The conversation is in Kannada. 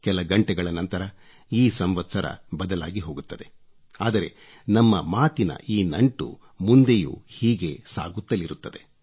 ಕೆಲ ಗಂಟೆಗಳ ನಂತರ ಈ ಸಂವತ್ಸರ ಬದಲಾಗಿ ಹೋಗುತ್ತದೆ ಆದರೆ ನಮ್ಮ ಮಾತಿನ ಈ ನಂಟು ಮುಂದೆಯೂ ಹೀಗೆ ಸಾಗುತ್ತಲಿರುತ್ತದೆ